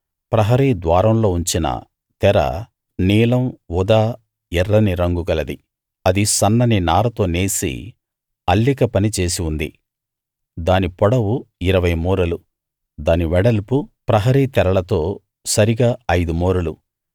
ప్రహరీ ద్వారంలో ఉంచిన తెర నీలం ఊదా ఎర్రని రంగు గలది అది సన్నని నారతో నేసి అల్లిక పని చేసి ఉంది దాని పొడవు ఇరవై మూరలు దాని వెడల్పు ప్రహరీ తెరలతో సరిగా ఐదు మూరలు